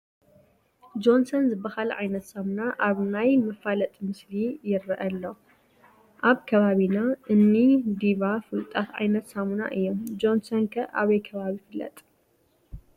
ጆንሰን ዝበሃል ዓይነት ሳሙና ኣብ ናይ መፋለጢ ምስሊ ይርአ ኣሎ፡፡ ኣብ ከባቢና እኒ ዲቫ ፍሉጣት ዓይነት ሳሙና እዮም፡፡ ጆንሰን ከ ኣበይ ከባቢ ይፍለጥ?